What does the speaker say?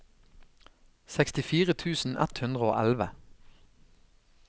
sekstifire tusen ett hundre og elleve